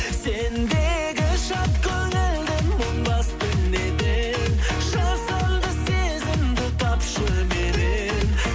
сендегі шат көңілді мұң басты неден жасанды сезімді тапшы меннен